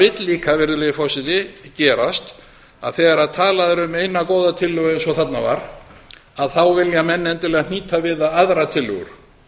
vill líka virðulegi forseti gerast að þegar talað er um eina góða tillögu eins og þarna var að þá vilja menn endilega hnýta við það aðrar tillögur